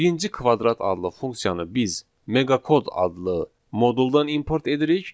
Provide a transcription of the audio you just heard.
Birinci kvadrat adlı funksiyanı biz meqakod adlı moduldan import edirik.